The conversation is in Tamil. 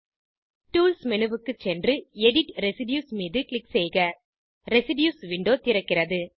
டூல்ஸ் மேனு க்கு சென்று எடிட் ரெசிடியூஸ் மீது க்ளிக் செய்க ரெசிடியூஸ் விண்டோ திறக்கிறது